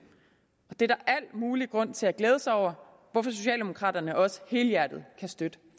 og det er der al mulig grund til glæde sig over hvorfor socialdemokraterne også helhjertet kan støtte